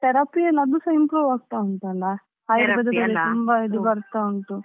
Therapy ಎಲ್ಲ ಅದುಸಾ improve ಆಗ್ತಾ ಉಂಟಲ್ವಾ ತುಂಬಾ ಇದು ಬರ್ತಾ ಉಂಟು.